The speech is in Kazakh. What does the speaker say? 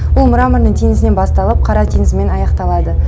ол мраморный теңізінен басталып қара теңізімен аяқталады